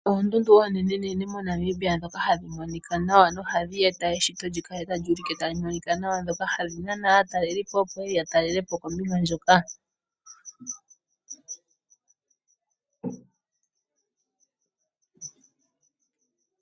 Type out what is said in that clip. Oondundu oonenenene moNamibia ndhoka hadhi monika nawa nohadhi eta eshito li kale tali ulike tali monika nawa ndhoka hadhi nana aatalelipo, opo ye ye ya talele po kombinga ndjoka.